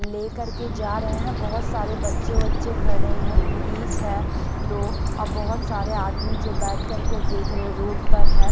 लेकर के जा रहे हैं बहुत सारे बच्चे-बच्चे खड़े हैं पुलिस है दो और बहुत सारे आदमी जो बैठ कर के देख रहे रोड पर है।